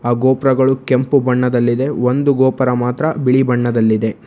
ಆ ಗೋಪುರಗಳು ಕೆಂಪು ಬಣ್ಣದಲ್ಲಿದೆ ಒಂದು ಗೋಪುರ ಮಾತ್ರ ಬಿಳಿ ಬಣ್ಣದಲ್ಲಿದೆ.